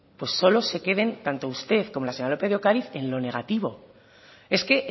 solo se queden tanto usted como la señora lópez de ocariz en lo negativo es que